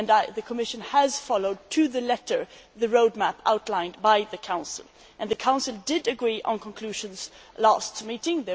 The Commission has followed, to the letter, the roadmap outlined by the Council, and the Council agreed on conclusions at the last meeting.